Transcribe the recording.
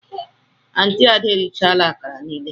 Aunti ada erichala akara niile.